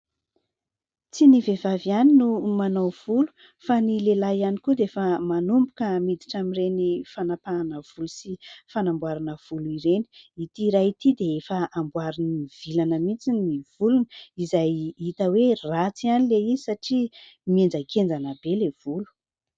Tsy ny vehivavy ihany no manao volo fa ny lehilahy ihany koa dia efa manomboka miditra amin'ireny fanampahana volo sy fanamboarana volo ireny. Ity iray ity dia efa amboariny mivilana mihitsy ny volony izay hita hoe ratsy ihany ilay izy satria mihenjakenjana be ilay volo.